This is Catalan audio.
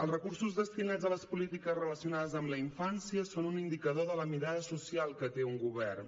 els recursos destinats a les polítiques relacionades amb la infància són un indicador de la mirada social que té un govern